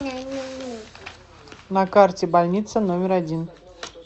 на карте больница номер один